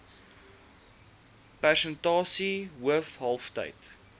persentasie hoof kalftyd